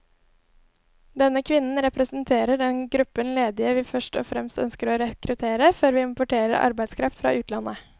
Denne kvinnen representerer den gruppen ledige vi først og fremst ønsker å rekruttere, før vi importerer arbeidskraft fra utlandet.